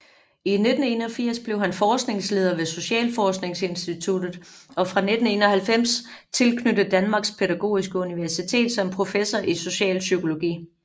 I 1981 blev han forskningsleder ved Socialforskningsinstituttet og fra 1991 tilknyttet Danmarks Pædagogiske Universitet som professor i socialpsykologi